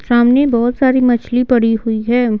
सामने बहुत सारी मछली पड़ी हुई है।